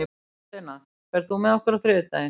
Hafsteina, ferð þú með okkur á þriðjudaginn?